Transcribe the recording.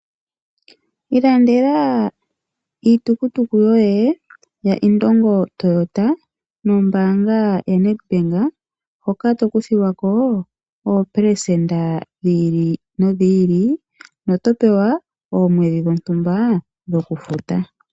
Ilandela iitukutuku yoye ya Indongo Toyota nombaanga ya NedBank, hoka to kuthilwako oopelesenda dhi ili nodhi ili, no to pewa oomwedhi dhontumba dhoku futa.